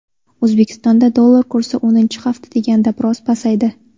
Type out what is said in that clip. O‘zbekistonda dollar kursi o‘ninchi hafta deganda biroz pasaydi.